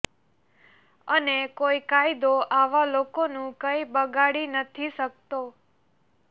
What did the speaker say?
અને કોઈ કાયદો આવા લોકોનું કઈ બગાડી નથી શકતો